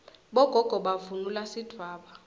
bogogo bavunula sidvwaba